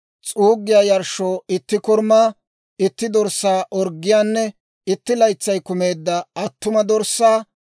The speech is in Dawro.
s'uuggiyaa yarshshoo itti korumaa, itti dorssaa orggiyaanne, itti laytsay kumeedda attuma dorssaa;